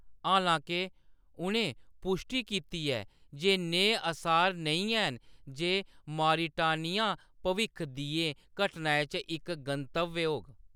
हालां-के, उʼनें पुश्टी कीती ऐ जे नेह् असार नेईं हैन जे मॉरिटानिया भविक्ख दियें घटनाएं च इक गंतव्य होग।